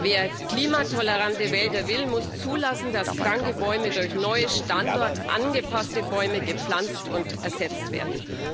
Wer klimatolerante Wälder will, muss zulassen, dass kranke Bäume durch neue, standortangepasste Bäume ersetzt werden.